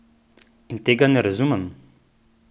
In tega ne razumem!